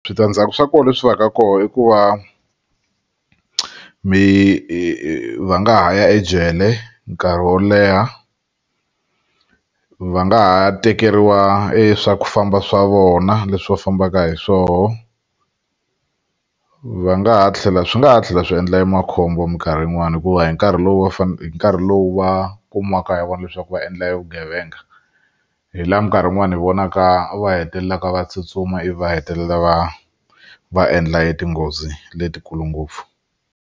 Switandzhaku swa kona leswi va ka kona i ku va mi va nga ha ya ejele nkarhi wo leha va nga ha tekeriwa swa ku famba swa vona leswi va fambaka hi swoho va nga ha tlhela swi nga ha tlhela swi endla makhombo minkarhi yin'wani hikuva hi nkarhi lowu va hi nkarhi lowu va kumiwaka hi vona leswaku va endla vugevenga hi laha minkarhi yin'wani hi vonaka va hetelelaka va tsutsuma ivi va hetelela va va endla hi tinghozi letikulu ngopfu.